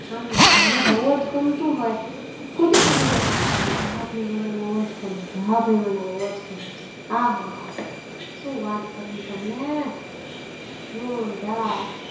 આમ જેને બૌ જ ગમતું હોય કુધી કુધી હા પડે કે હા ભાઈ મને બૌઅજ઼ ગમે છે હા ભાઈ મને બૌઅજ઼ ગમે છે આ હા આ સુ કરવી તમને જોરદાર.